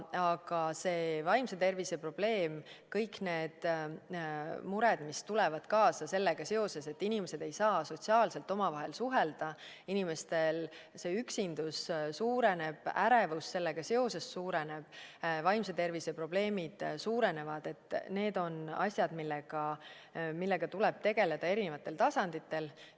Aga see vaimse tervise probleem, kõik need mured, mis tulevad kaasa sellega, et inimesed ei saa sotsiaalselt omavahel suhelda, inimeste üksindus suureneb, ärevus sellega seoses suureneb, vaimse tervise probleemid suurenevad – need on asjad, millega tuleb tegeleda erinevatel tasanditel.